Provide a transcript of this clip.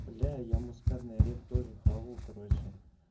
бля я мускатный орех тоже хавал короче